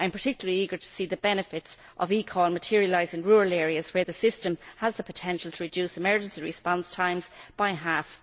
I am particularly eager to see the benefits of eCall materialise in rural areas, where the system has the potential to reduce emergency response times by half.